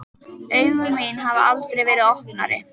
Augu mín hafa aldrei verið opnari.